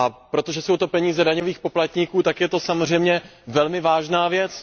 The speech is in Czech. Protože jsou to peníze daňových poplatníků, tak je to samozřejmě velmi vážná věc.